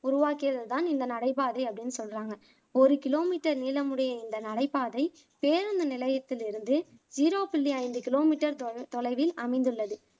உருவாக்கியது தான் இந்த நடைபாதை அப்படின்னு சொல்லுறாங்க ஒரு கிலோமீட்டர் நீளமுடைய இந்த நடைபாதை பேருந்து நிலையத்திலிருந்து ஜிரோ புள்ளி ஐந்து கிலோமீட்டர் தொ தொலைவில் அமைந்துள்ளது